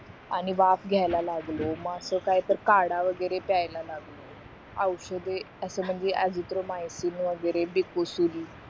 आणि वाफ लागलो मग असं काय तर काढा वगैरे प्याला लागलो औषधे असं म्हणजे अझिथ्रोमायसिन वगैरे डिकुसुल